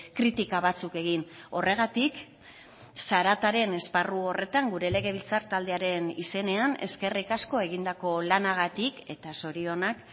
kritika batzuk egin horregatik zarataren esparru horretan gure legebiltzar taldearen izenean eskerrik asko egindako lanagatik eta zorionak